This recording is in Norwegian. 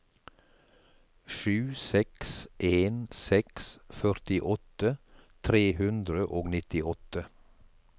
sju seks en seks førtiåtte tre hundre og nittiåtte